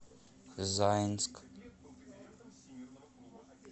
заинск